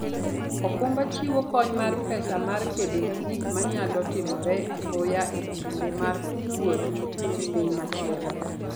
okumba chiwo kony mar pesa mar kedo gi gik manyalo timore apoya e kinde mar wuoth e piny machielo.